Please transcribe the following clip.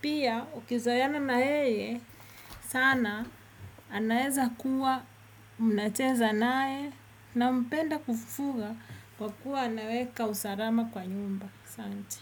pia ukizoeana na yeye sana anaweza kuwa mnacheza nae nampenda kufuga kwa kuwa anaweka usalama kwa nyumba asante.